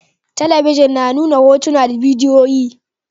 Talabijin na nuna hotuna da bidiyoyi